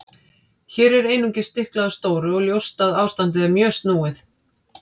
Hér er einungis stiklað á stóru og ljóst að ástandið er mjög snúið.